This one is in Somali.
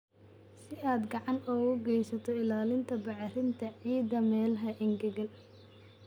Si aad gacan uga geysato ilaalinta bacrinta ciidda meelaha engegan.